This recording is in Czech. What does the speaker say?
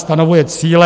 Stanovuje cíle.